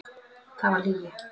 Það var lygi.